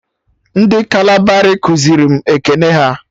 Ndị kalabari kuziri m ekene ha